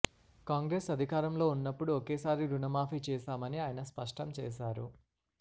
కాంగ్రెస్ అధికారంలో ఉన్నప్పుడు ఒకేసారి రుణమాఫీ చేశామని ఆయన స్పష్టం చేశారు